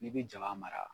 N'i bɛ jaba mara